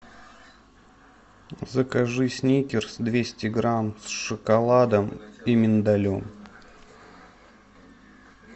закажи сникерс двести грамм с шоколадом и миндалем